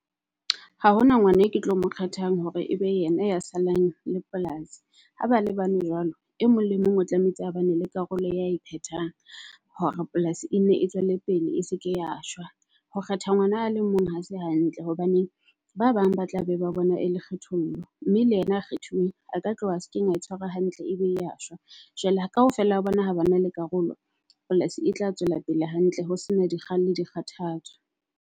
Ha hona ngwana e ke tlo mo kgethang hore ebe yena ya salang le polasi. Ha ba le bane jwalo e mong le mong o tlamehetse hobane le karolo ya e phetwang hore polasi e nne e tswele pele e seke ya shwa. Ho kgetha ngwana a le mong ha se hantle. Hobaneng ba bang ba tla be ba bona e le kgethollo mme le yena a kgethuweng a ka tloha sekeng a tshwarwa hantle, ebile a shwa. Jwale kaofela ha bona ha ba na le karolo, polasi e tla tswela pele hantle ho sena di kgang le di kgathatso.